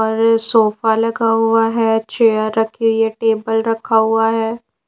और सोफा लगा हुआ है चेयर रखी हुई है टेबल रखा हुआ है।